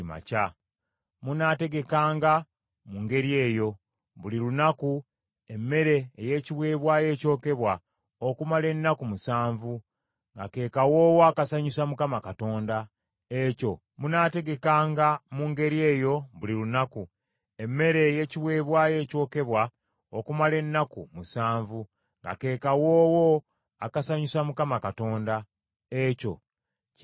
Munaategekanga mu ngeri eyo, buli lunaku, emmere ey’ekiweebwayo ekyokebwa, okumala ennaku musanvu, nga ke kawoowo akasanyusa Mukama Katonda; ekyo kinaateekebwateekebwanga okwongereza ku kiweebwayo ekyokebwa ekya bulijjo awamu n’ekiweebwayo ekyokunywa ekigenderako.